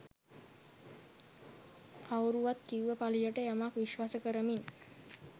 කවුරුවත් කිව්ව පලියට යමක් විශ්වාස කරමින්